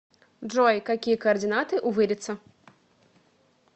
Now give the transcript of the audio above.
джой какие координаты у вырица